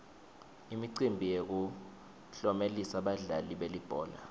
imicimbi yokutlomelisa badlali belibhola